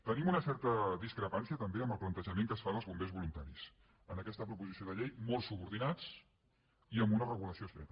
tenim una certa discrepància també en el plante·jament que es fa dels bombers voluntaris en aquesta proposició de llei molt subordinats i amb una regula·ció estreta